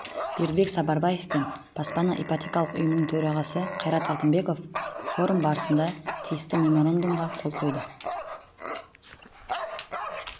бердібек сапарбаев пен баспана ипотекалық ұйымының төрағасы қайрат алтынбеков форум барысында тиісті меморандумға қол қойды